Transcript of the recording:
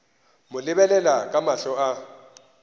mo lebelela ka mahlo a